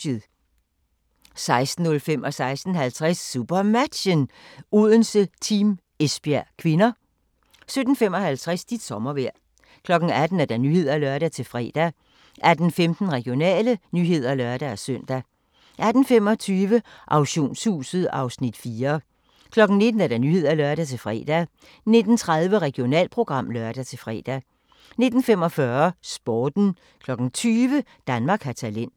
16:05: SuperMatchen: Odense-Team Esbjerg (k) 16:50: SuperMatchen: Odense-Team Esbjerg (k) 17:55: Dit sommervejr 18:00: Nyhederne (lør-fre) 18:15: Regionale nyheder (lør-søn) 18:25: Auktionshuset (Afs. 4) 19:00: Nyhederne (lør-fre) 19:30: Regionalprogram (lør-fre) 19:45: Sporten 20:00: Danmark har talent